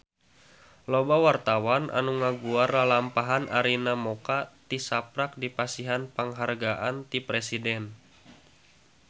Loba wartawan anu ngaguar lalampahan Arina Mocca tisaprak dipasihan panghargaan ti Presiden